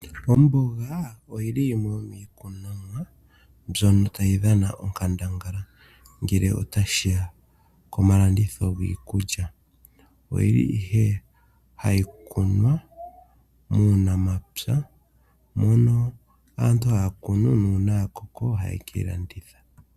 Omboga oyili yimwe yomiikunomwa mbyono tayi dhana onkandangala ngele ota shiya komalanditho giikulya. Oyili ihe hayi kunwa muunamapya, mono aantu haa kunu , nu una ya koko oha ye ke yi landitha.